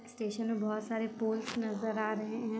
Station में बहुत सारे पोल्स नजर आ रहे है।